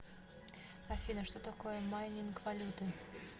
афина что такое майнинг валюты